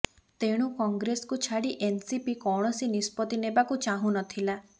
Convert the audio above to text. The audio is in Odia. ତେଣୁ କଂଗ୍ରେସକୁ ଛାଡ଼ି ଏନ୍ସିପି କୌଣସି ନିଷ୍ପତ୍ତି ନେବାକୁ ଚାହୁଁନଥିଲା